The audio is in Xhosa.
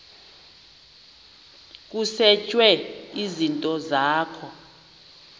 kusetshwe izinto zakho